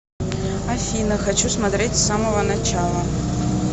афина хочу смотреть с самого начала